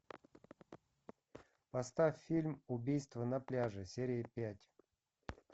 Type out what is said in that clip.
поставь фильм убийство на пляже серия пять